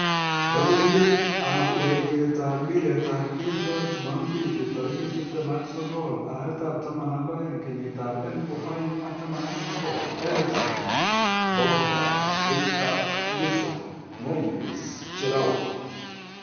Logoiywekab urerietab mpiretab keldo jumompili 29.12.2019: Eriksen, Pogba, Richarlison, Moyes, Giroud